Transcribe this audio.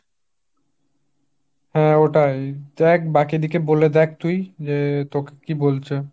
হাঁ ওটাই। দেখ বাকি দিকে বোলে দেখ তুই তোকে কি বলছে?